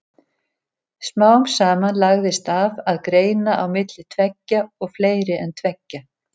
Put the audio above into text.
Smám saman lagðist af að greina á milli tveggja og fleiri en tveggja.